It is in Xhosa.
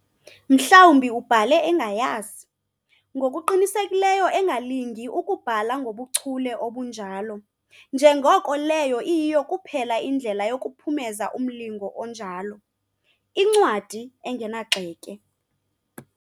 Mhlawumbi ubhale engayazi, ngokuqinisekile engalingi ukubhala ngobuchule obunjalo, njengoko leyo iyiyo kuphela indlela yokuphumeza umlingo onjalo., incwadi engenagxeke.